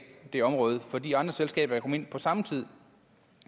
det område fordi andre selskaber kan komme ind på samme tid